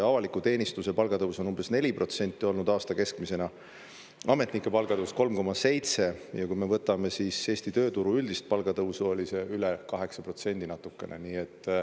Avaliku teenistuse palgatõus on umbes 4% olnud aasta keskmisena, ametnike palgatõus 3,7%, ja kui me võtame Eesti tööturu üldist palgatõusu, oli see üle 8% natukene.